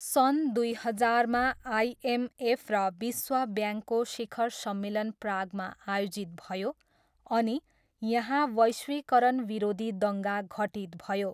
सन् दुई हजारमा आइएमएफ र विश्व ब्याङ्कको शिखर सम्मेलन प्रागमा आयोजित भयो अनि यहाँ वैश्विकरण विरोधी दङ्गा घटित भयो।